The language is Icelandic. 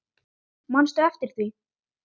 Manstu eftir því?